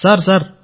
sir sir